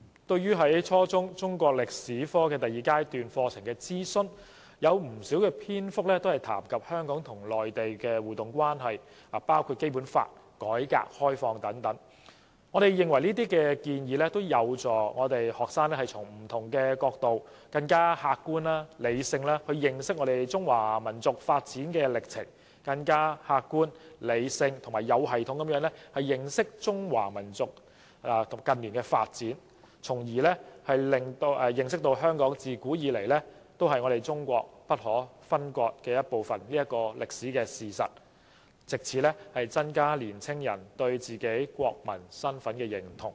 對於初中中國歷史科第二階段課程的諮詢，有不少篇幅談及香港與內地的互動關係，包括《基本法》和改革開放等，我們認為這些建議有助學生從不同角度，更客觀和理性地認識中華民族的發展歷程，以及更客觀、理性和有系統地認識中華民族的近代發展，從而認識香港自古以來是中國不可分割的一部分的歷史事實，藉此增加年青人對自己國民身份的認同。